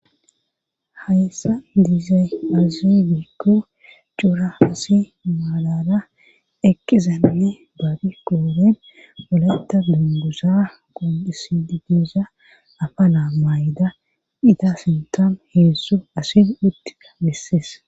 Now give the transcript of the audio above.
hayssa diizay azi bikko cuura asi maalala eqqizanne baabi qooren poletta dungusa qondisididiza afa la mayda dita sintom heessu asin uttika missees